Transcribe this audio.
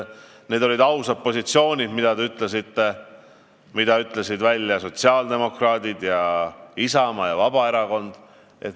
Ja oma positsioonist rääkisid ausalt ka sotsiaaldemokraadid, Isamaa ja Vabaerakond.